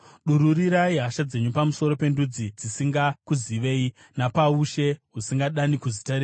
Dururirai hasha dzenyu pamusoro pendudzi dzisingakuzive, napaushe husingadani kuzita renyu;